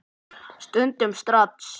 Stundum strax.